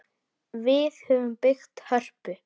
Við höfum byggt Hörpu.